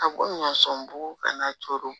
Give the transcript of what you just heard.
A ko ɲɔ sɔn bugu kana coro